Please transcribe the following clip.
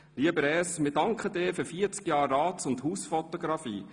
Lieber Res, wir danken dir für 40 Jahre Rats- und Hausfotografie.